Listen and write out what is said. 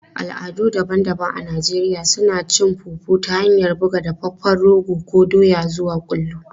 Al'adu daban-daban a Najeriya suna yi da cin fufu ta hanyar buga dafaffen rogo ko doya zuwa kullu.